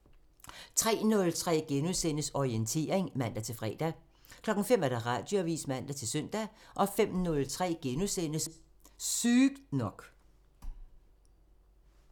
03:03: Orientering *(man-fre) 05:00: Radioavisen (man-søn) 05:03: Sygt nok *(man)